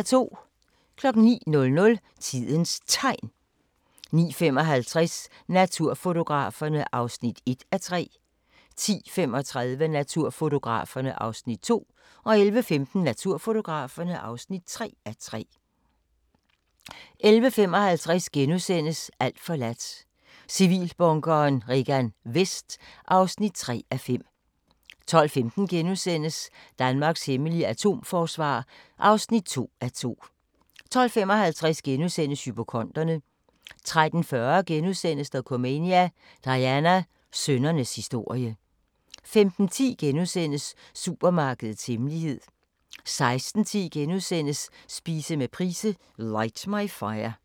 09:00: Tidens Tegn 09:55: Naturfotograferne (1:3) 10:35: Naturfotograferne (2:3) 11:15: Naturfotograferne (3:3) 11:55: Alt forladt – Civilbunkeren Regan Vest (3:5)* 12:15: Danmarks hemmelige atomforsvar (2:2)* 12:55: Hypokonderne * 13:40: Dokumania: Diana – sønnernes historie * 15:10: Supermarkedets hemmelighed * 16:10: Spise med Price - Light my Fire *